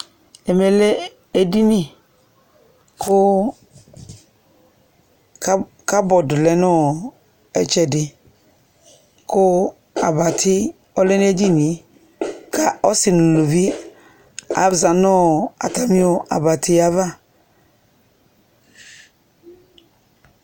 Ɛmɛ lɛ edɩnɩ kʋ kabɔd lɛ nʋ ɩtsɛdɩ kʋ abatɩ ɔlɛ nʋ edɩnɩe ka ɔsɩ nʋ ʋlʋvɩ aza nʋ atamɩ abatɩ ava